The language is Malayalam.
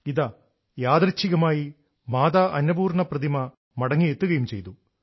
ഇതാ യാദൃശ്ചികമായി മാതാ അന്നപൂർണ പ്രതിമ മടങ്ങിയെത്തുകയും ചെയ്തു